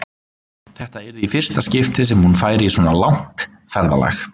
Þetta yrði í fyrsta skipti sem hún færi í svona langt ferðalag.